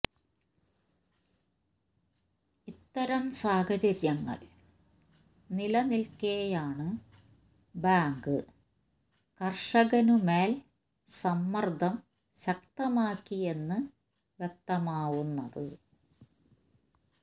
ഇത്തരം സാഹചര്യങ്ങൾ നിലനിൽക്കെയാണ് ബാങ്ക് കർഷകന് മേൽ സമ്മർദ്ദം ശക്തമാക്കിയെന്ന് വ്യക്തമാവുന്നത്